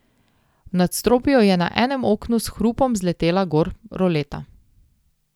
V nadstropju je na enem oknu s hrupom zletela gor roleta.